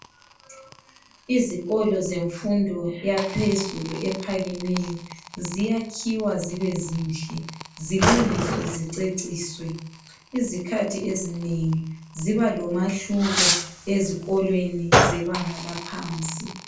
Izikolo zemfundo yaphezulu ephakemeyo ziyakhuwa zibe zinhle zilungiswe ziceciswe izikhathi ezinengi ziba lomahluko ezikolweni zebanga laphansi